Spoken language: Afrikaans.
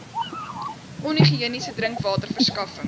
onhigiëniese drinkwater verskaffing